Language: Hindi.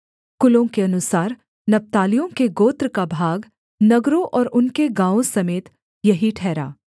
कुलों के अनुसार नप्तालियों के गोत्र का भाग नगरों और उनके गाँवों समेत यही ठहरा